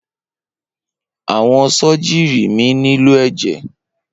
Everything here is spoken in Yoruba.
Awọn sọjírì mi nílò ẹjẹ.